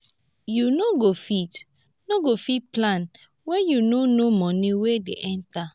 you no go fit no go fit plan when you no know money wey dey enter